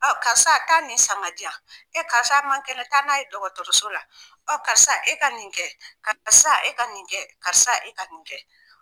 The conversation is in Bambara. karisa taa nin san ka di yan e karisa man kɛnɛ taa n'a ye dɔgɔtɔrɔroso la karisa e ka nin kɛ karisa e ka nin kɛ karisa e ka nin kɛ.